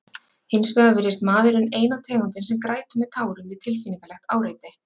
Hins vegar virðist maðurinn eina tegundin sem grætur með tárum við tilfinningalegt áreiti.